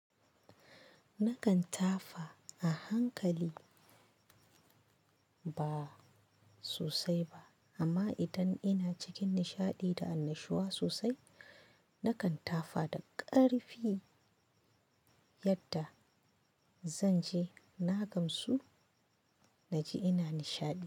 Nakan tafa a hankali ba sosai ba amma idan ina cikin nishaɗi da annashuwa sosai, nakan tafa da ƙarfi yadda zan ji na gamsu naji ina nishaɗi.